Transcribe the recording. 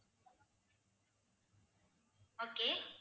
okay